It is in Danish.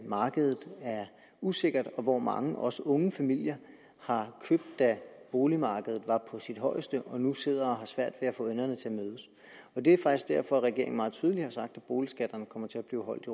markedet er usikkert og hvor mange også unge familier har købt da boligmarkedet var på sit højeste og nu sidder og har svært ved at få enderne til at mødes det er faktisk derfor regeringen meget tydeligt har sagt at boligskatterne kommer til at blive holdt